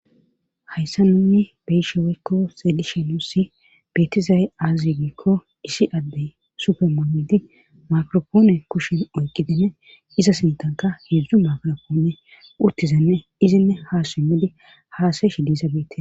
Hayssa nunni beysheweykko xeelishe nuussi betiza7e aazi gikko isi addey supermumidi makropoone kushin oyqqidinne iza sintanka hedzdzu makropoone urtizenne izinne ha simmidi haasayeshi dizabete.